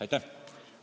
Aitäh!